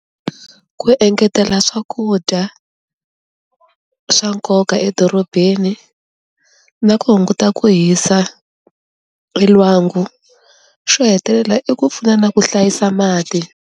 Ku engetela swakudya swa nkoka edorobeni na ku hunguta ku hisa elwangu xo hetelela i ku pfuna na ku hlayisa mati.